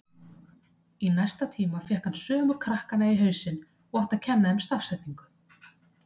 Í næsta tíma fékk hann sömu krakkana í hausinn og átti að kenna þeim stafsetningu.